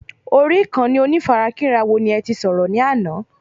Orí Ìkànnì onífarakínra wo ní ẹti sọ̀rọ̀ ní àná?